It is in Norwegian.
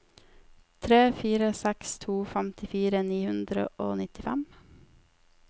tre fire seks to femtifire ni hundre og nittifem